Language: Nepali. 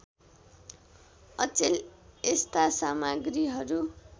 अचेल यस्ता सामग्रीहरू